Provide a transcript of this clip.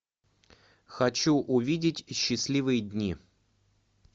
хочу увидеть счастливые дни